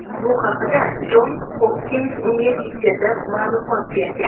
Bu haqda Jons Hopkins universiteti ma’lumot bergan .